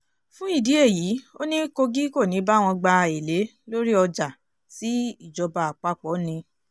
fún ìdí èyí ó ní kogi kò ní í báwọn gba èlé orí ọjà tí ìjọba àpapọ̀ ni